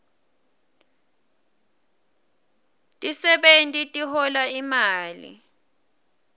tisebewti tihola imali